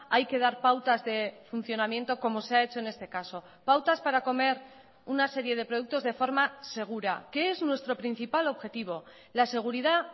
hay que dar pautas de funcionamiento como se ha hecho en este caso pautas para comer una serie de productos de forma segura que es nuestro principal objetivo la seguridad